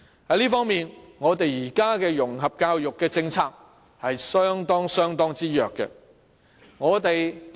在這方面，我們現時的融合教育政策是非常弱的。